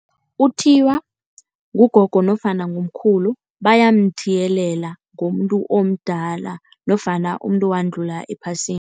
Uthiywa ngugogo nofana ngumkhulu. Bayamthiyelela ngomuntu omdala nofana umuntu owadlula ephasini.